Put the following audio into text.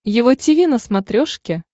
его тиви на смотрешке